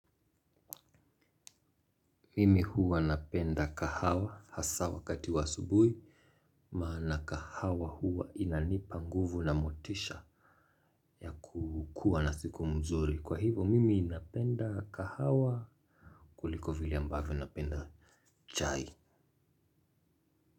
Mimi huwa napenda kahawa hasa wakati wa asubuhi. Maana kahawa huwa inanipa nguvu na motisha ya kukuwa na siku mzuri. Kwa hivo mimi napenda kahawa kuliko vile ambavyo napenda chai.